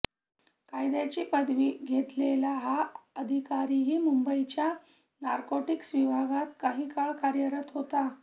कायद्याची पदवी घेतलेला हा अधिकारीही मुंबईच्या नार्कोटिक्स विभागात काही काळ कार्यरत होता